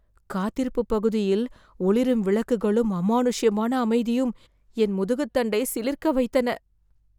காத்திருப்புப் பகுதியில் ஒளிரும் விளக்குகளும் அமானுஷ்யமான அமைதியும் என் முதுகுத்தண்டை சிலிர்க்க வைத்தன.